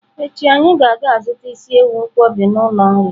Echi anyi ga-aga zuta isi ewu nkwobj n'ulo nri.